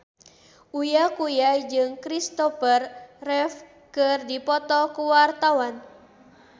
Uya Kuya jeung Christopher Reeve keur dipoto ku wartawan